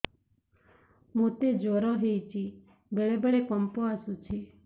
ମୋତେ ଜ୍ୱର ହେଇଚି ବେଳେ ବେଳେ କମ୍ପ ଆସୁଛି